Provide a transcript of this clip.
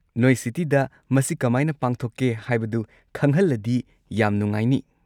ꯅꯣꯏ ꯁꯤꯇꯤꯗ ꯃꯁꯤ ꯀꯃꯥꯏꯅ ꯄꯥꯡꯊꯣꯛꯀꯦ ꯍꯥꯏꯕꯗꯨ ꯈꯪꯍꯜꯂꯗꯤ ꯌꯥꯝ ꯅꯨꯡꯉꯥꯏꯅꯤ꯫